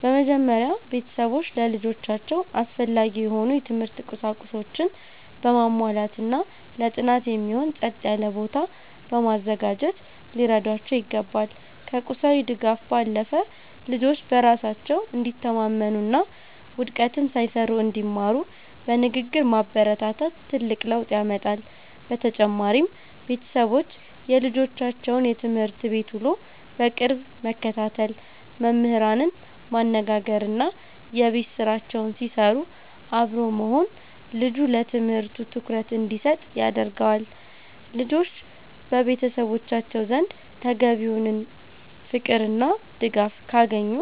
በመጀመሪያ፣ ቤተሰቦች ለልጆቻቸው አስፈላጊ የሆኑ የትምህርት ቁሳቁሶችን በማሟላትና ለጥናት የሚሆን ጸጥ ያለ ቦታ በማዘጋጀት ሊረዷቸው ይገባል። ከቁሳዊ ድጋፍ ባለፈ፣ ልጆች በራሳቸው እንዲተማመኑና ውድቀትን ሳይፈሩ እንዲማሩ በንግግር ማበረታታት ትልቅ ለውጥ ያመጣል። በተጨማሪም፣ ቤተሰቦች የልጆቻቸውን የትምህርት ቤት ውሎ በቅርብ መከታተል፣ መምህራንን ማነጋገርና የቤት ስራቸውን ሲሰሩ አብሮ መሆን ልጁ ለትምህርቱ ትኩረት እንዲሰጥ ያደርገዋል። ልጆች በቤተሰቦቻቸው ዘንድ ተገቢውን ፍቅርና ድጋፍ ካገኙ፣